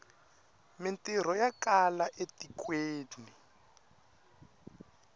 mintirho ya kala e tikweni